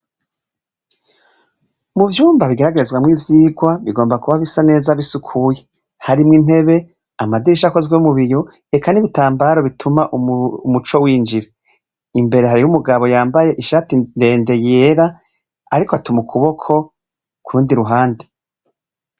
Muvyumba bigeragerezwamo ivyigwa bigomba kuba bisa neza bisukuye harimwo intebe, amadirisha akozwe mubiyo eka n’ibitambaro bituma umuco winjira. Imbere hariyo umugabo yambaye ishati ndende yera ariko atuma ukuboko kurundi ruhande.